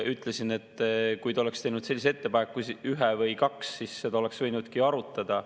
Ma ütlesin, et kui ta oleks teinud sellise ettepaneku, ühe või kaks, siis seda oleks võinudki arutada.